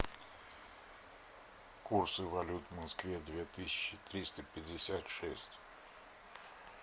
курсы валют в москве две тысячи триста пятьдесят шесть